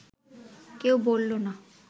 কেউ বলল না